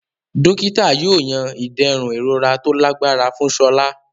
Dókítà yóò yan iderun ìrora tó lágbára fún Sola.